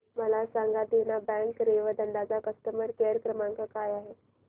मला सांगा देना बँक रेवदंडा चा कस्टमर केअर क्रमांक काय आहे